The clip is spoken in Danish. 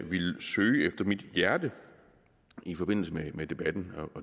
ville søge efter mit hjerte i forbindelse med debatten